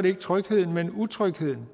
det ikke trygheden men utrygheden